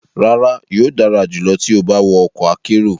Rara, yoo dara julọ ti o ba wọ ọkọ akero